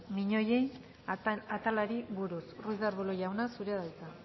miñoien atalari buruz ruiz de arbulo jauna zurea da hitza